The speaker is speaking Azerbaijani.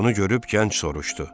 Bunu görüb gənc soruşdu: